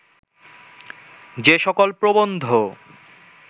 যে সকল প্রবন্ধ